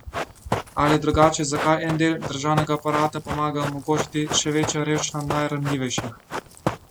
Ali drugače, zakaj en del državnega aparata pomaga omogočati še večjo revščino najranljivejših?